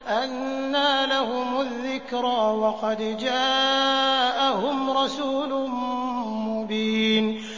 أَنَّىٰ لَهُمُ الذِّكْرَىٰ وَقَدْ جَاءَهُمْ رَسُولٌ مُّبِينٌ